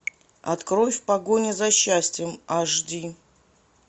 открой в погоне за счастьем аш ди